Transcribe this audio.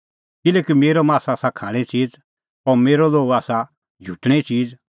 किल्हैकि मेरअ मास आसा खाणें च़ीज़ और मेरअ लोहू आसा झुटणें च़ीज़